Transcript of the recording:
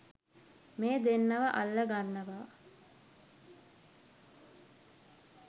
මේ දෙන්නව අල්ලගන්නවා